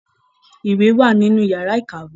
Ìwé wà nínú yàrà ìkàwé.